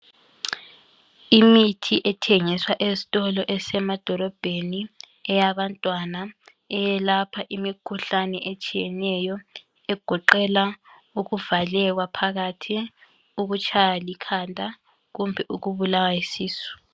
Imithi ethengiswa ezitolo esemadolobheni eyabantwana eyelapha imikhuhlane etshiyeneyo egoqela ukuvaleka phakathi ukutshaywa likhanda kumbe ukubulawa yisisu